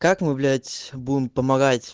как мы блять будем помогать